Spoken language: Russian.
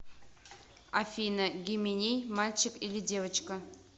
афина гименей мальчик или девочка